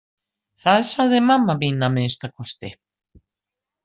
Það sagði mamma mín að minnsta kosti.